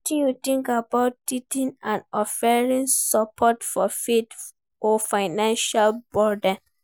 Wetin you think about tithing and offerings, support for faith or financial burden?